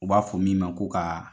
U b'a fɔ min ma ko ka